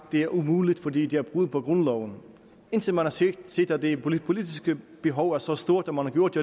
det var umuligt fordi det var et brud på grundloven indtil man har set set at det politiske behov var så stort at man har gjort